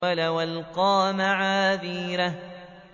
وَلَوْ أَلْقَىٰ مَعَاذِيرَهُ